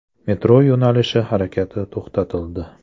Metro yo‘nalishi harakati to‘xtatildi.